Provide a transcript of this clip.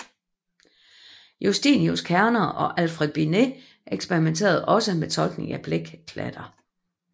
Justinius Kerner og Alfred Binet eksperimenterede også med tolkning af blækklatter